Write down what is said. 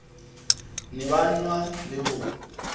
ne ba nwa le ho